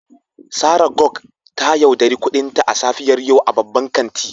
Sarah gog ta yauɗari kudinta a safiyar yau a babban kanti.